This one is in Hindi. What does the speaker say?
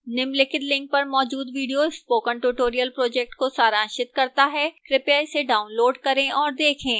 निम्नलिखित link पर मौजूद video spoken tutorial project को सारांशित करता है कृपया इसे डाउनलोड करें और देखें